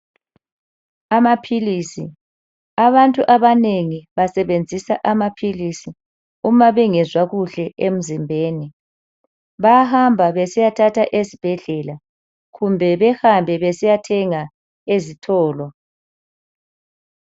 Amaphilisi abantu abanengi basebenzisa amaphilisi uma bengezwa kuhle emzimbeni, bahamba besiyathatha esibhedlela kumbe behambe besiyathenga ezitolo.